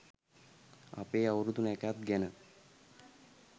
අපේ අවුරුදු නැකත් ගැන